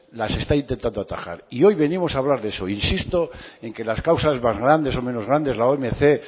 las está intentando atajar y hoy venimos a hablar de eso insisto en que las causas más grandes o menos grandes la omc